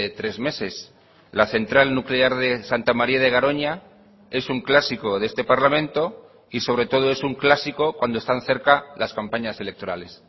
tres meses la central nuclear de santa maría de garoña es un clásico de este parlamento y sobre todo es un clásico cuando están cerca las campañas electorales